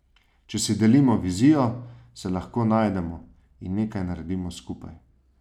Če si delimo vizijo, se lahko najdemo in nekaj naredimo skupaj.